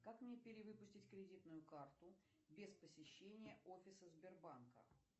как мне перевыпустить кредитную карту без посещения офиса сбербанка